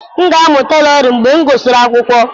M ga-amụ Tailoring mgbe m gụsịrị akwụkwọ.